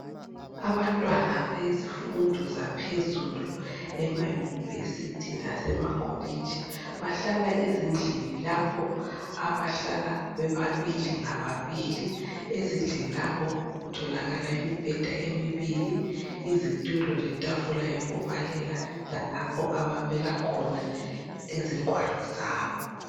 Abantwana bezifundo zaphezulu ema-University lasemakolitshi bahlala ezindlini lapho abahlala bebabili ngababili. Ezindlini lapho kutholakala imibheda emibili izitulo letafula yokubalela lalapho ababeka khona izingwalo zabo.